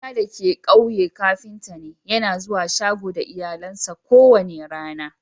Kawuna dake a'ƙauye kafinta ne. Yana zuwa shago da iyalinsa ko wani rana.